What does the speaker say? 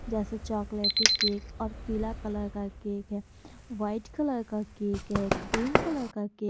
जैसे chocolatey cake और पीला कलर का केक है उसे व्हाइट कलर का केक क्रीम कलर का के --